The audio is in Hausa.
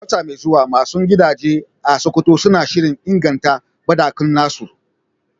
A wata mai zuwa, masu gidaje a Sokoto suna shirin inganta banɗakunansu